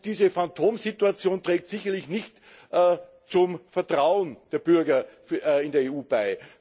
Diese Phantomsituation trägt sicherlich nicht zum Vertrauen der Bürger in die EU bei.